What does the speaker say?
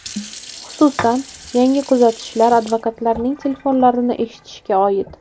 Xususan, yangi tuzatishlar advokatlarning telefonlarini eshitishga oid.